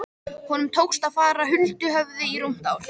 Honum tókst að fara huldu höfði í rúmt ár.